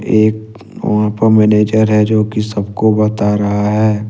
एक वहां पे मैनेजर है जो कि सब को बता रहा है।